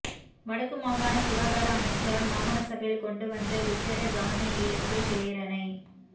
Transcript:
வடக்கு மாகான சுகாதார அமைச்சரால் மாகாண சபையில் கொண்டுவந்த விசேட கவனயீர்ப்பு பிரேரணை